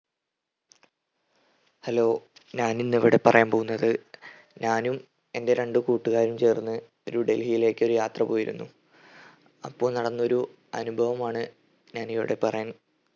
hello ഞാനിന്നിവിടെ പറയാൻ പോകുന്നത് ഞാനും എൻ്റെ രണ്ട് കൂട്ടുകാരും ചേർന്ന് ഒരു ഡൽഹിയിലേക്കൊരു യാത്ര പോയിരുന്നു. അപ്പൊ നടന്നൊരു അനുഭവമാണ് ഞാനിവിടെ പറയാൻ